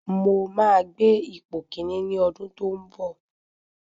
Mo máa gbé ipò kíní ní ọdún tó ń bọ̀.